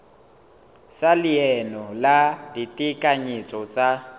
sa leano la ditekanyetso tsa